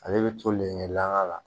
Ale bɛ to le la